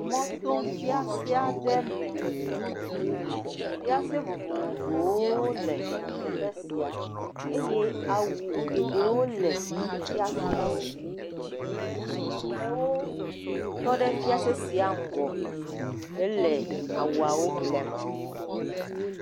Mɔto fiase aɖe me. Fiase vovovowo le teƒe sia eye awu geɖewo le fiaseawo me. Amewo tɔ ɖe fiase sia ŋgɔ hele awuawo ƒlem.